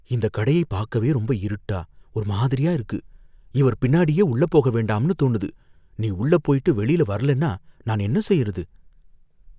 இந்தக் கடையைப் பாக்கவே ரொம்ப இருட்டா ஒரு மாதிரியா இருக்கு, இவர் பின்னாடியே உள்ள போக வேண்டாம்னு தோணுது. நீ உள்ள போயிட்டு வெளியில வரலன்னா நான் என்ன செய்யறது ?